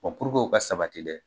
o ka sabati dɛ